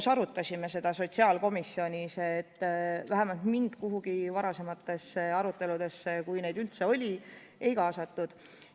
Me arutasime seda üheskoos sotsiaalkomisjonis, vähemalt mind ühtegi varasemasse arutelusse, kui neid üldse oli, ei kaasatud.